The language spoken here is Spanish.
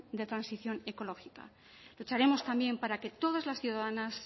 de transición ecológica lucharemos también para que todas las ciudadanas